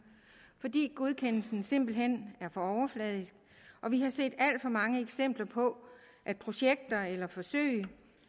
fordi godkendelsen simpelt hen er for overfladisk og vi har set alt for mange eksempler på at projekter eller forsøg